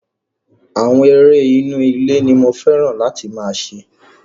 Àwọn eré inú ilé ní mo fẹ́ràn láti máa ṣe.